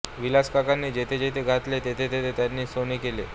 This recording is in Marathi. विलासकाकांनी जेथे जेथे घातले तेथे तेथे त्यांनी सोने केले